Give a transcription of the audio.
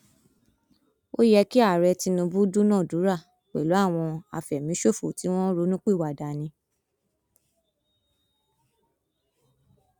ó yẹ kí ààrẹ tinubu dúnàádúrà pẹlú àwọn àfẹmíṣòfò tí wọn ronúpìwàdà ni